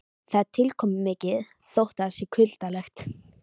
Það er tilkomumikið þótt það sé kuldalegt.